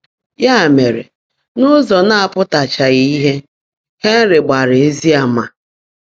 Yá mèrè, n’ụ́zọ́ ná-ápụ́táchághị́ ìhè, Hènry gbaàrá ézí àmà̀.